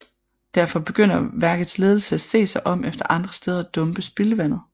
Derfor begynder værkets ledelse at se sig om efter andre steder at dumpe spildevandet